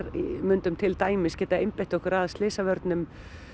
myndum til dæmis geta einbeitt okkur að slysavörnum